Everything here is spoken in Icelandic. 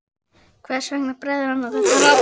Hvers vegna bregður hann á þetta ráð?